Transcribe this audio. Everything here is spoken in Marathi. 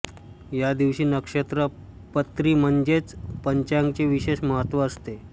या दिवशी नक्षत्र पत्री म्हणजेच पंचांगाचे विशेष महत्त्व असते